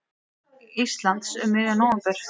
Íslands um miðjan nóvember.